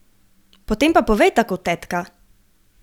Potem pa povej tako, tetka!